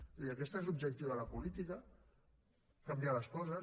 vull dir aquest és l’objectiu de la política canviar les coses